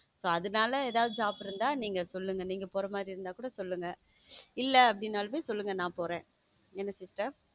so அதனால ஏதாவது job இருந்தா சொல்லுங்க நீங்க போற மாதிரி இருந்தா கூட சொல்லுங்க இல்ல அப்படின்னாலும் சொல்லுங்க நான் போறேன் என்ன sister